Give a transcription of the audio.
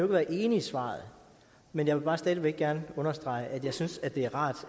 være enig i svaret men jeg vil bare stadig væk gerne understrege at jeg synes det er rart